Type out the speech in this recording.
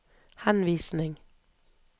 henvisning